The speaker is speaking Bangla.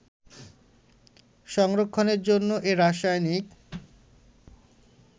সংরক্ষণের জন্য এ রাসায়নিক